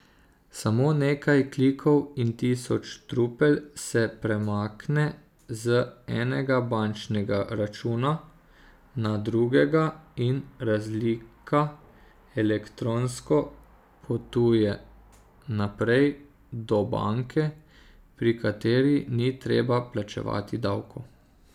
Samo nekaj klikov in tisoč trupel se premakne z enega bančnega računa na drugega in razlika elektronsko potuje naprej do banke, pri kateri ni treba plačevati davkov.